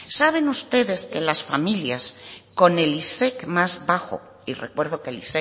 saben ustedes que las familias con el isec más bajo y recuerdo que el